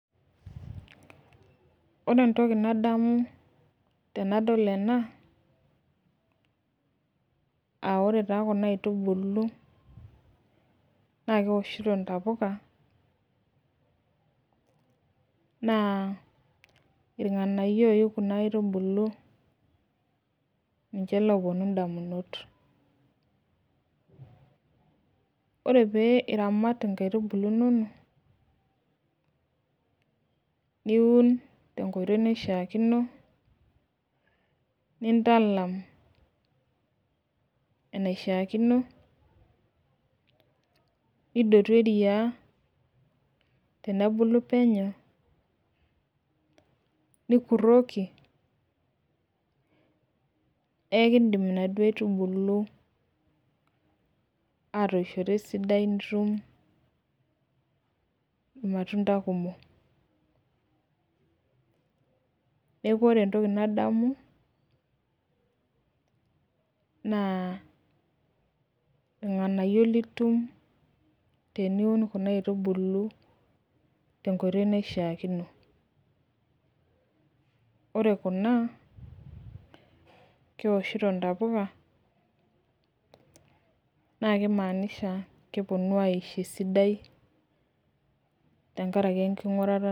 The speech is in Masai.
ore entoki nadamu tenadol ena aa ore taa kuna atubulu naa kewoshito intapuka, naa ilnganayio ooyu kuna aitubulu niche loo puonu idamunot, ore pee iramat inkaitubulu inonok niun tenkoitoi naishaakino, nindalam enaishaakino nidotu eria tenebulu penyo nikuroki ekidim inaduoo aitubulu atoishoto esidai nitum ilmatuntakumok neeku ore entoki nadamu naa ilnganayio litum tenkoitoi naishakino ore kuna kewoshito intapuka naa kitodolu ajo kepuonu aisho esidai.